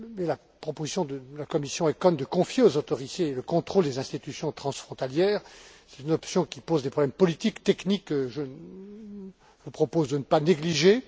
La proposition de la commission ECON de confier aux autorités le contrôle des institutions transfrontalières est une option qui pose des problèmes politiques, techniques que je vous propose de ne pas négliger.